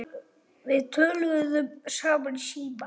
Við töluðum saman í síma.